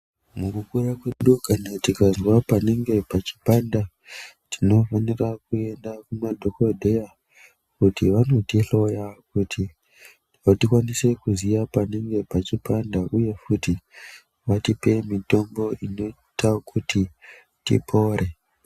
Mukukura kwedu kana tikazwa panenge pachipanda tinofanira kuenda kumadhokodheya kuti vanotihloya kuti tikwanise kuziya panenge pachipanda uye futi vatipe mitombo inoita kuti tipore.